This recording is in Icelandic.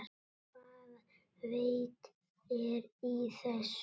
Hvaða vit er í þessu?